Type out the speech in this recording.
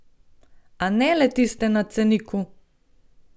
A ne le tiste na ceniku!